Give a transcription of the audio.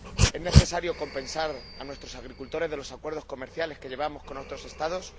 ¿Es necesario compensar a nuestros agricultores por los acuerdos comerciales que mantenemos con otros Estados?